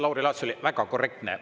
Lauri Laats oli väga korrektne.